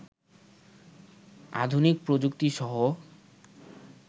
আধুনিক প্রযুক্তিসহ